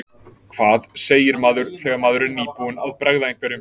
Hvað segir maður þegar maður er nýbúinn að bregða einhverjum?